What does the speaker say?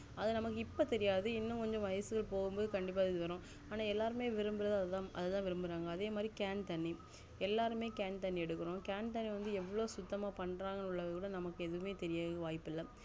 அது நம்மக்கு இப்போ தெரியாது இன்னும் கொஞ்சம் வயசு போகும் பொது கண்டிப்பா தெரியும் ஆனா எல்லாரும் விரும்புறது அத்தான் விரும்புறாங்க அதே மாதிரி cane தண்ணி எல்லாருமே cane தண்ணி எடுக்குறோம் cane தண்ணி வந்து எவ்ளோ சுத்தமா பண்றாங்கனுகூட தெரியல